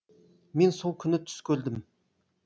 мен сол күні түс көрдім